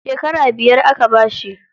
Shekara biyar aka bashi.